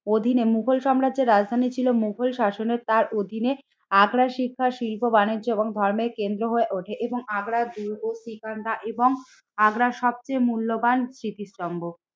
অধীনে মুঘল সাম্রাজ্যের রাজধানী ছিল মুঘল শাসনের তার অধীনে আগ্রার শিক্ষার শিল্প বাণিজ্য এবং ধর্মের কেন্দ্র হয়ে ওঠে এবং আগ্রার দুর্গসিকান্দা এবং আগ্রার সবচেয়ে মূল্যবান স্মৃতিস্তম্ভ।